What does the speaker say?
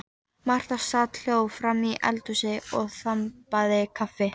Marta sat hljóð framí eldhúsi og þambaði kaffi.